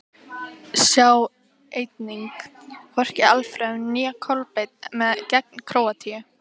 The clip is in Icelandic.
Sjá einnig: Hvorki Alfreð né Kolbeinn með gegn Króatíu?